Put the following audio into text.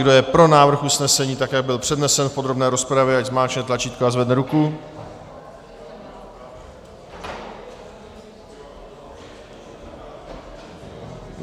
Kdo je pro návrh usnesení tak, jak byl přednesen v podrobné rozpravě, ať zmáčkne tlačítko a zvedne ruku.